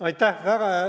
Aitäh!